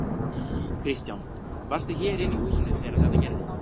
Kristján: Varstu hér inni í húsinu þegar þetta gerðist?